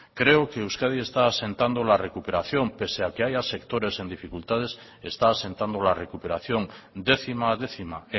creo que euskadi está asentando la recuperación pese a que haya sectores en dificultades está asentando la recuperación décima a décima